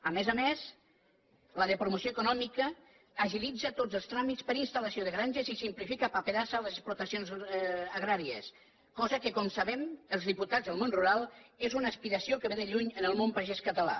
a més a més la de promoció econòmica agilitza tots els tràmits per a instal·lació de granges i simplifica paperassa a les explotacions agràries cosa que com sabem els diputats del món rural és una aspiració que ve de lluny en el món pagès català